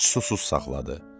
Ac susuz saxladı.